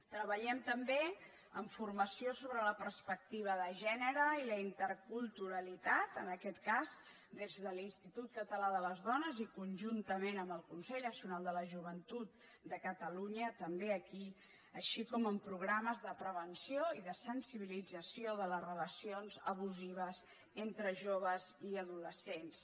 treballem també en formació sobre la perspectiva de gènere i la interculturalitat en aquest cas des de l’institut català de les dones i conjuntament amb el consell nacional de la joventut de catalunya també aquí així com en programes de prevenció i de sensibilització de les relacions abusives entre joves i adolescents